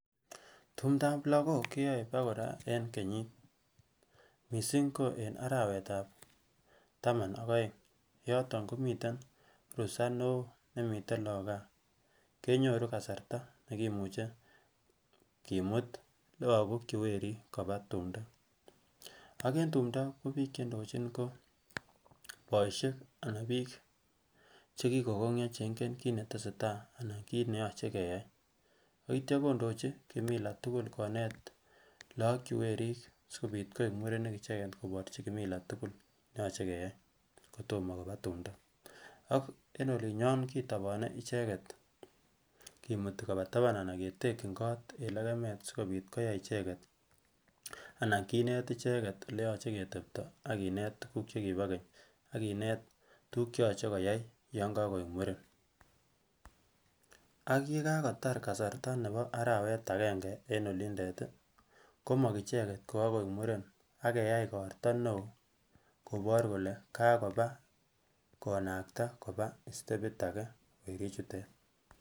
Tumdap lokok keyoe bokoraa en kenyit. Missing ko en arawek ab taman ak oeng yoton komiten rusaa neo nemiten lok gaa kenyoruu kasartab nekimuche kimut lokok che werik koba tupto. AK en tupto ko bik cheindoji ko boishet anan bik chekikogonyoo cheinken kit netesetai anan kit neyoche keyai, ak ityo kondoji kimila tukul konet lok chewerik sikopit koik murenik icheket koborchi kimila tukul neyoche keyai kotomo koba tumdo ak en olinyon kitopone icheket kimuti kopantaban anan ketekin kot en lekemet sikopit koyai icheket anan kinet icheket eleyoche ketepti ak kinet tukul chekibo Kenya ak kinet tukul cheyoche koyai yon kokoik muren. AK yekakotar kasartab nebo arawek agenge en olindet tii kimong icheket kokokoik muren ak keyai igorto neo kobor kole kakoba konakta koba istepit aje werik chutet.